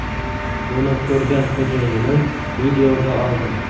Buni ko‘rgan xo‘jayinim videoga oldi.